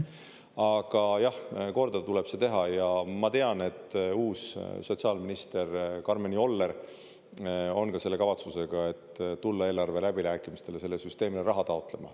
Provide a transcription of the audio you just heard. Aga jah, korda tuleb see teha ja ma tean, et uus sotsiaalminister Karmen Joller on selle kavatsusega, et tulla eelarve läbirääkimistele sellele süsteemile raha taotlema.